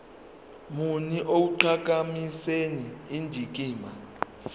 muni ekuqhakambiseni indikimba